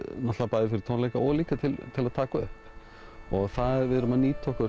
bæði fyrir tónleika og líka til að taka upp við erum að nýta okkur